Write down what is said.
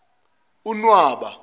unwaba